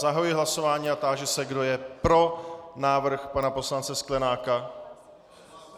Zahajuji hlasování a táži se, kdo je pro návrh pana poslance Sklenáka.